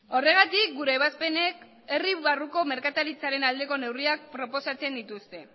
horregatik gure ebazpenek herri barruko merkataritzaren aldeko neurriak proposatzen dituzte